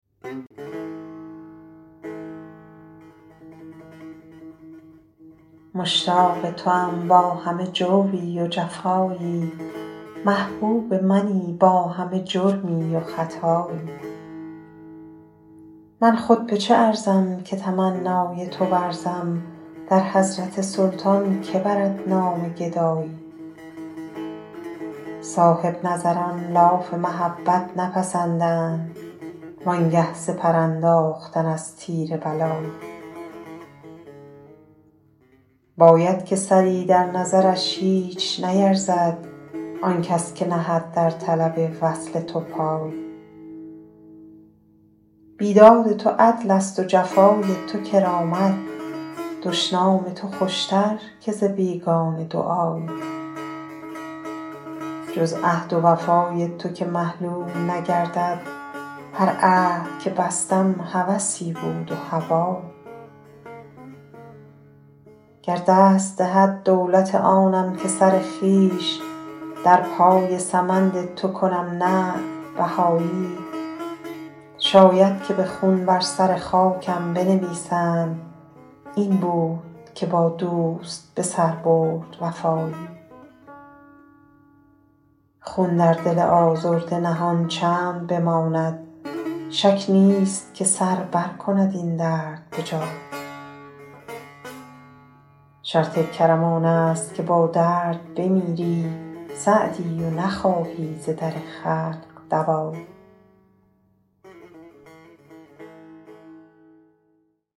مشتاق توام با همه جوری و جفایی محبوب منی با همه جرمی و خطایی من خود به چه ارزم که تمنای تو ورزم در حضرت سلطان که برد نام گدایی صاحب نظران لاف محبت نپسندند وان گه سپر انداختن از تیر بلایی باید که سری در نظرش هیچ نیرزد آن کس که نهد در طلب وصل تو پایی بیداد تو عدلست و جفای تو کرامت دشنام تو خوشتر که ز بیگانه دعایی جز عهد و وفای تو که محلول نگردد هر عهد که بستم هوسی بود و هوایی گر دست دهد دولت آنم که سر خویش در پای سمند تو کنم نعل بهایی شاید که به خون بر سر خاکم بنویسند این بود که با دوست به سر برد وفایی خون در دل آزرده نهان چند بماند شک نیست که سر برکند این درد به جایی شرط کرم آنست که با درد بمیری سعدی و نخواهی ز در خلق دوایی